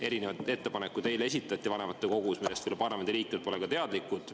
Erinevaid ettepanekuid esitati eile vanematekogus, millest parlamendiliikmed pole teadlikud.